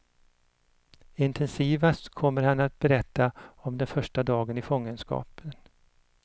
Intensivast kommer han att berätta om den första dagen i fångenskap.